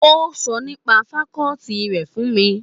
Ó sọ nípa fakọ́ọ́tì rẹ̀ fún mi.